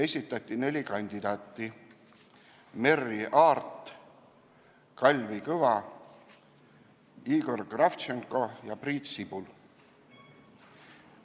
Esitati neli kandidaati: Merry Aart, Kalvi Kõva, Igor Kravtšenko ja Priit Sibul.